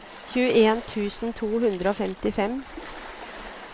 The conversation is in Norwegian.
tjueen tusen to hundre og femtifem